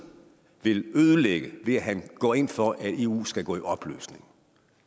vil ødelægge ved at han går ind for at eu skal gå i opløsning